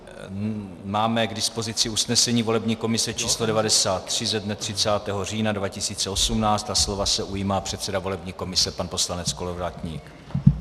Máme k dispozici usnesení volební komise č. 93 ze dne 30. října 2018 a slova se ujímá předseda volební komise pan poslanec Kolovratník.